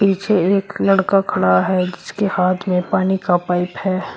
पीछे एक लड़का खड़ा है जिसके हाथ में पानी का पाइप है।